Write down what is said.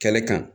Kɛlɛ kan